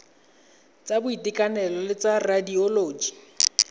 tsa boitekanelo le tsa radioloji